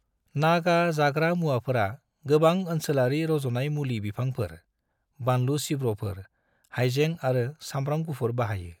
नागा जाग्रा मुवाफोरा गोबां ओनसोलारि रज'नाय मुलि बिफांफोर, बानलु सिब्र'फोर, हायजें आरो सामब्राम गुफुर बाहायो।